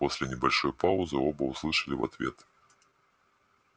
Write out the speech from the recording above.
после небольшой паузы оба услышали в ответ